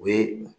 O ye